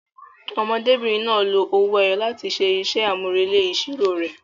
Ọmọdébìnrin náà lo owó ẹyọ láti ṣe iṣẹ́ àmúrelé ìṣirò rẹ̀.